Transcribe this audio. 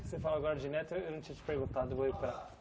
Você fala agora de neto, eh eu não tinha te perguntado. Eu vou entrar